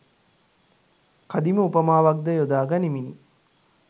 කදිම උපමාවක් ද යොදා ගනිමිනි.